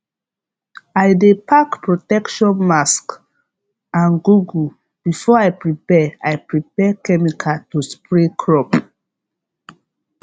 i dey pack protection mask and goggle before i prepare i prepare chemical to spray crop